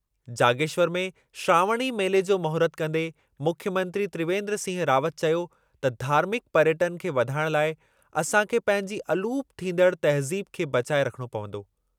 जागेश्वर में श्रावणी मेले जो महूरत कंदे मुख्यमंत्री त्रिवेंन्द्र सिंह रावत चयो त धार्मिकु पर्यटनु खे वधाइणु लाइ असांखे पंहिंजी अलूपु थींदड़ तहज़ीब खे बचाए रखणो पवंदो।